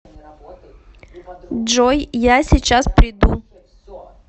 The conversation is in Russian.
джой я сейчас приду